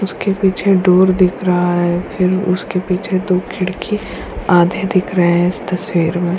इसके पीछे डूर दिख रहा है फिर उसके पीछे दो खिड़की आधे दिख रहे है इस तस्वीर में।